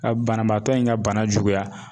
Ka banabaatɔ in ka bana juguya